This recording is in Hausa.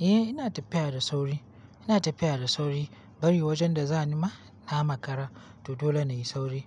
Eh, ina tafiya da sauri. Ina tafiya da sauri bari wajen da za ni ma na makara to dole na yi sauri.